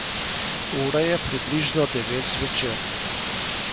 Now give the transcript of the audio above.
Ura je približno devet zvečer.